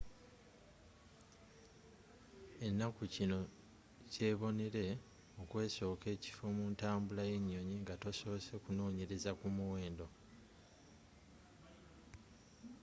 ennaku zino kyebonere okwesooka ekifo muntambula y'enyoyi nga tosoose kunnonyereza ku miwendo